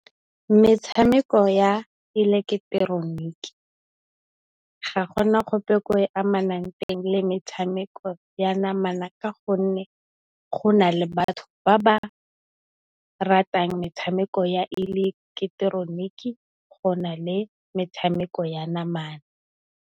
Metshameko ya ileketeroniki ga gona gope ko e amanang teng le metshameko ya namana ka gonne, go na le batho ba ba ratang metshameko ya ileketeroniki go na le metshameko ya namana.